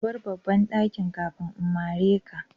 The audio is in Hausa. Ka bar babban dakin kafin in mare ka.